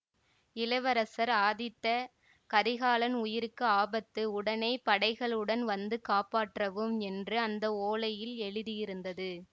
இளவரசர் ஆதித்த கரிகாலன் உயிருக்கு ஆபத்து உடனே படைகளுடன் வந்து காப்பாற்றவும் என்று அந்த ஓலையில் எழுதியிருந்தது